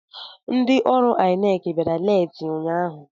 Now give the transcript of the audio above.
Ndị ọrụ INEC bịara leeti ụnyaahụ.